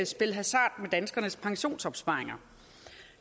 spille hasard med danskernes pensionsopsparinger